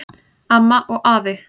Amma og afi